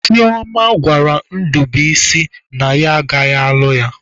Chioma gwara Ndubuisi na ya agaghị alụ ya.